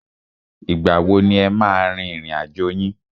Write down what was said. Ìgbà wo ni e máa a rin ìrìn àjò yín?